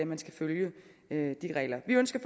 man skal følge de regler vi ønsker